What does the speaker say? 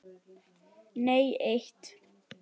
Nei eitt.